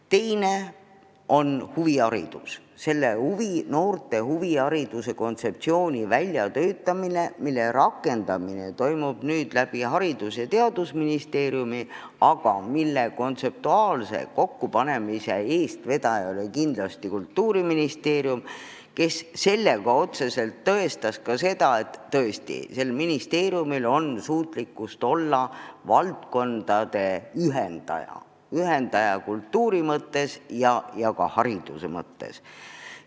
Teine on huviharidus, noorte huvihariduse kontseptsiooni väljatöötamine, mille rakendamine toimub nüüd Haridus- ja Teadusministeeriumi kaudu, aga mille kontseptuaalset kokkupanemist vedas kindlasti Kultuuriministeerium, tõestades sel moel ka seda, et tal on suutlikkust olla valdkondade ühendaja – ühendaja kultuuri mõttes ja ka hariduse mõttes.